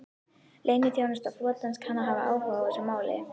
Leyniþjónusta flotans kann að hafa áhuga á málinu